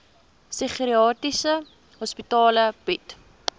psigiatriese hospitale bied